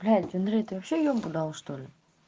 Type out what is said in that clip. блять андрей ты вообще ёбу дал что ли